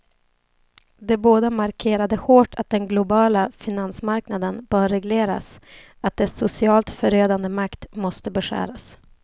De båda markerade hårt att den globala finansmarknaden bör regleras, att dess socialt förödande makt måste beskäras.